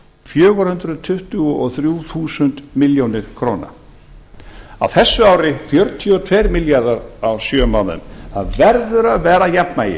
fjögur hundruð tuttugu og þrjú þúsund milljónir króna á þessu ári fjörutíu og tveir milljarðar á sjö mánuðum það verður að vera jafnvægi